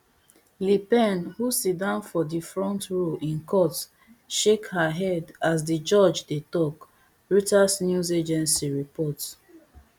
le pen who sit down for di front row in court shake her head as di judge dey tok reuters news agency report